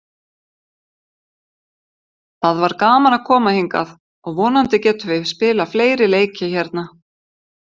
Það var gaman að koma hingað og vonandi getum við spilað fleiri leiki hérna.